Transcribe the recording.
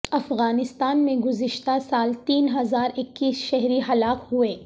افغانستان میں گزشتہ سال تین ہزار اکیس شہری ہلاک ہوئے